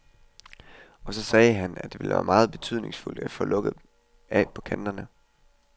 Og så sagde han, at det vil være meget betydningsfuldt at få lukket af på kanterne.